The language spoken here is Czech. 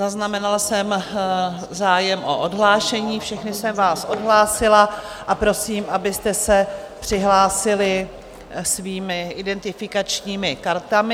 Zaznamenala jsem zájem o odhlášení, všechny jsem vás odhlásila a prosím, abyste se přihlásili svými identifikačními kartami.